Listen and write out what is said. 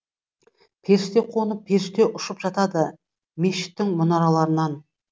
періште қонып періште ұшып жатады мешіттің мұнараларынан